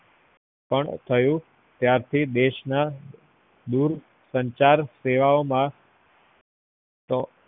પન થયું ત્યાંથી દેશ ના દુર સંચાર સેવાઓમાં તો